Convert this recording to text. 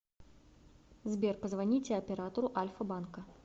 сбер позвоните оператору альфа банка